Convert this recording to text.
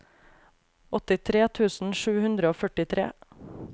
åttitre tusen sju hundre og førtitre